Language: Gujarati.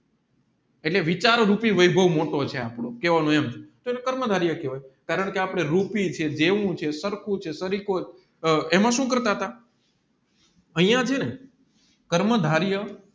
એટલે વિચાર રૂપી વૈભવ મોટો છે એમ કેહવાનું એમ એને કર્મ ધારી કેહવાય કારણકે આપણે રૂપી છે સરખું છે સારિકો છે એમાં સુ કરતા તા અહીંયા ચેને કર્મ ધારિયા